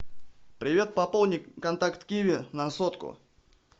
привет пополни контакт киви на сотку